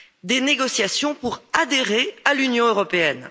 des négociations pour adhérer à l'Union européenne.